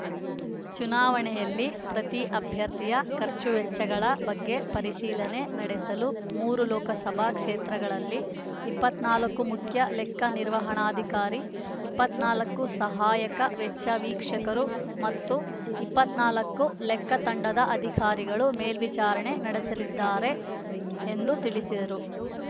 ಚುನಾವಣೆಯಲ್ಲಿ ಪ್ರತಿ ಅಭ್ಯರ್ಥಿಯ ಖರ್ಚು ವೆಚ್ಚಗಳ ಬಗ್ಗೆ ಪರಿಶೀಲನೆ ನಡೆಸಲು ಮೂರು ಲೋಕಸಭಾ ಕ್ಷೇತ್ರಗಳಲ್ಲಿ ಇಪ್ಪತ್ತ್ ನಾಲ್ಕು ಮುಖ್ಯ ಲೆಕ್ಕ ನಿರ್ವಹಣಾಧಿಕಾರಿ ಇಪ್ಪತ್ತ್ ನಾಲ್ಕು ಸಹಾಯಕ ವೆಚ್ಚ ವೀಕ್ಷಕರು ಮತ್ತು ಇಪ್ಪತ್ತ್ ನಾಲ್ಕು ಲೆಕ್ಕ ತಂಡದ ಅಧಿಕಾರಿಗಳು ಮೇಲ್ವಿಚಾರಣೆ ನಡೆಸಲಿದ್ದಾರೆ ಎಂದು ತಿಳಿಸಿದರು